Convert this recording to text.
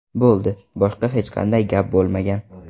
Bo‘ldi, boshqa hech qanday gap bo‘lmagan.